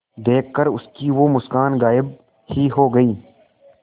देखकर उसकी वो मुस्कान गायब ही हो गयी